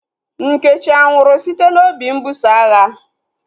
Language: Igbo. Nkechi anwụrụ site n'obi mbuso agha?